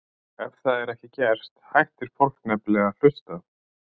Ef það er ekki gert hættir fólk nefnilega að hlusta.